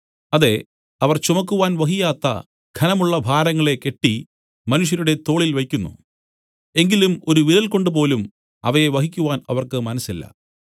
അതെ അവർ ചുമക്കുവാൻ വഹിയാത്ത ഘനമുള്ള ഭാരങ്ങളെ കെട്ടി മനുഷ്യരുടെ തോളിൽ വെയ്ക്കുന്നു എങ്കിലും ഒരു വിരൽ കൊണ്ടുപോലും അവയെ വഹിക്കുവാൻ അവർക്ക് മനസ്സില്ല